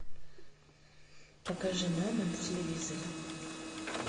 покажи мама на телевизоре